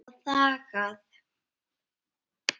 Og þagað.